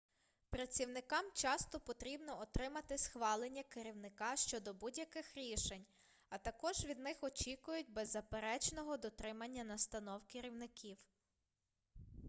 працівникам часто потрібно отримати схвалення керівника щодо будь-яких рішень а також від них очікують беззаперечного дотримання настанов керівників